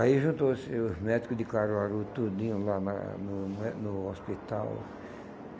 Aí juntou-se os médicos de Caruaru, tudinho lá na no no hospital.